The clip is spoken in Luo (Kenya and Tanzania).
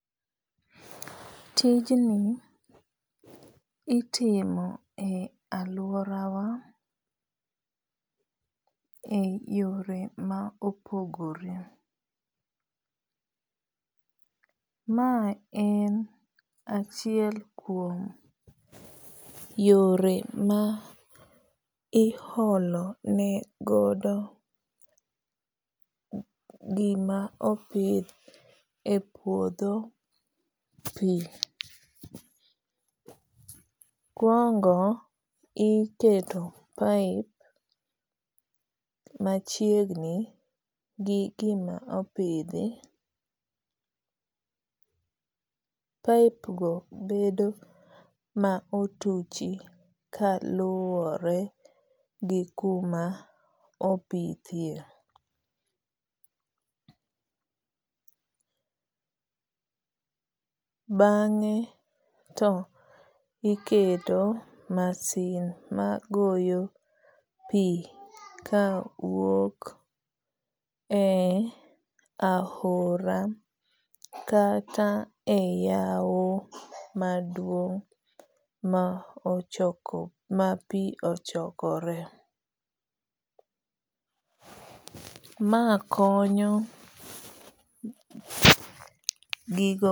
Tijni itimo e aluora wa e yore ma opogore. Ma en achiel kuom yore ma iholo ne godo gima opidh e puodho pi. Mokuongo iketo pipe machiegni gi gima opidhi. Pipe go bedo ma otuchi kaluwore gi kuma opithie. Bang'e to iketo masin ma goyo pi kawuok e ahora kata e yaw maduong' ma pi ochokore. Ma konyo gigo.